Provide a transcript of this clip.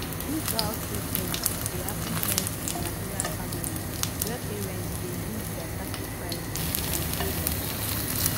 dis guilttripping dey happen plenty in nigerian families where parents dey use dia sacrifices to control dia children